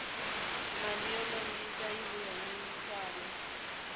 mali yo lombisa yi vuya ni ntswalo